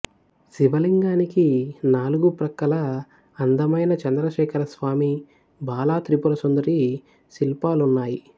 శివలింగానికి నాలుగు ప్రక్కలా అందమైన చంద్రశేఖరస్వామి బాల త్రిపురసుందరి శిల్పాలున్నాయి